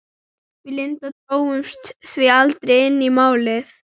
Við Linda drógumst því aldrei inn í Málið.